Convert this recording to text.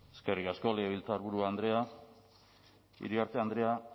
eskerrik asko legebiltzarburu andrea iriarte andrea